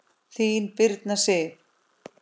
Þín, Birna Sif.